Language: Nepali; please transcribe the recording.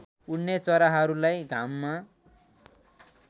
उड्ने चराहरूलाई घाममा